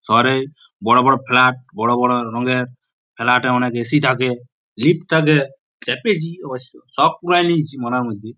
শহরে বড় বড় ফ্লাট | বড় বড় রঙের ফ্লাট -এ অনেক এ .সি থাকে লিফ্ট থাকে চাপেছি অবশ্য শুক পুরাইন নিয়েছি মনের মধ্যে।